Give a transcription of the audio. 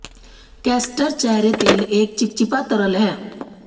castor चेहरे तेल एक चिपचिपा तरल है